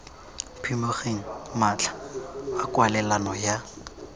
phimogeng matlha a kwalelano ya